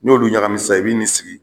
Ni y'olu ɲagami sisan i b'i n'i sigi